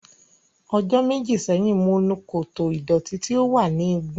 Ọjọ́ méjì sẹ́yìn, mo nu koto ìdọ̀tí tí ó wà ní igun.